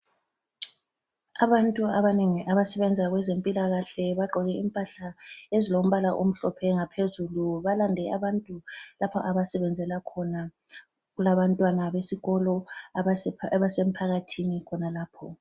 Abantu abanengi abasebenza kwezempilakahle bagqoke impahla ezilombala omhlophe ngaphezulu. Balande abantu lapha abasebenzela khona. Kulabantwana besikolo abasemphakathini khonalapho.